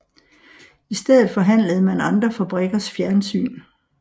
I stedet forhandlede man andre fabrikkers fjernsyn